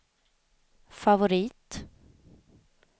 favorit